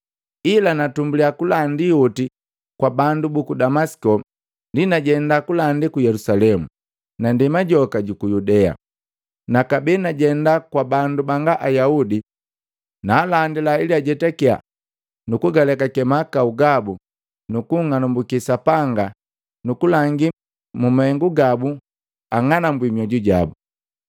Ila natumbuliya kulandi oti kwa bandu buku Damasiko, ndi najenda kulandi ku Yelusalemu na ndema joka juku Yudea, na kabee najenda kwa bandu banga Ayaudi. Naalandila ili ajetakiya na kugaleka mahakau gabu nubung'anambukiya Sapanga nukulangi mu mahengu gabu ang'anambwi mioju jabu.